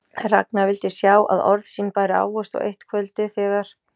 En Ragnar vildi sjá að orð sín bæru ávöxt og eitt kvöldið, þegar